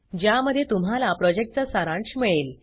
ज्यामध्ये तुम्हाला प्रॉजेक्टचा सारांश मिळेल